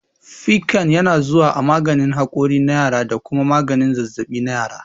Piccan yana zuwa a maganin hakuri na yara da kuma maganin zazzaɓi na yara.